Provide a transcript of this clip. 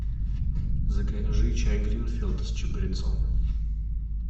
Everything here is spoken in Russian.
закажи чай гринфилд с чабрецом